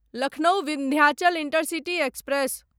Lucknow Vindhyachal intercity express